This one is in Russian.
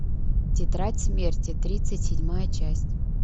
тетрадь смерти тридцать седьмая часть